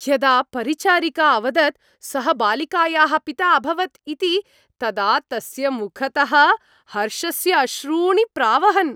यदा परिचारिका अवदत् सः बालिकायाः पिता अभवत् इति तदा तस्य मुखतः हर्षस्य अश्रूणि प्रावहन्।